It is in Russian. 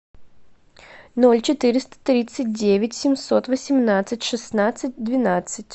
ноль четыреста тридцать девять семьсот восемнадцать шестнадцать двенадцать